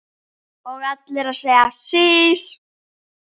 Og allir að segja sís!